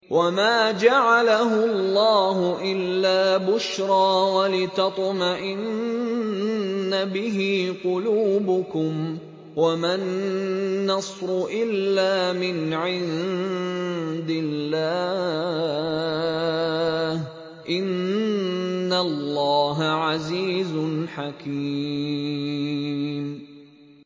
وَمَا جَعَلَهُ اللَّهُ إِلَّا بُشْرَىٰ وَلِتَطْمَئِنَّ بِهِ قُلُوبُكُمْ ۚ وَمَا النَّصْرُ إِلَّا مِنْ عِندِ اللَّهِ ۚ إِنَّ اللَّهَ عَزِيزٌ حَكِيمٌ